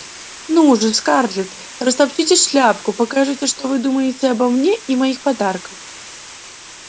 ну же скарлетт растопчите шляпку покажите что вы думаете обо мне и моих подарках